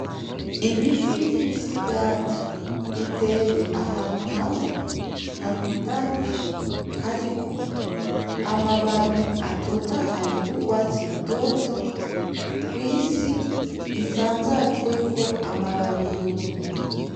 Ibiti vy'imisigati biteye ahantu hamwe harundanye, hariko amababi atotahaye y'urwatsi rutoto kw'isi isanzajweko amababi yumye.